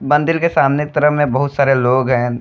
मंदिल के सामने तरफ में बहुत सारे लोग हैन।